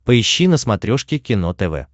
поищи на смотрешке кино тв